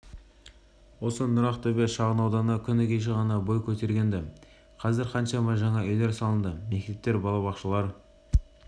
осы нұрақтөбе шағын ауданы күні кеше ғана бой көтерген-ді қазір қаншама жаңа үйлер салынды мектептер балабақшалар